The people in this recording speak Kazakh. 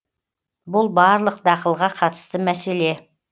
бұл барлық дақылға қатысты мәселе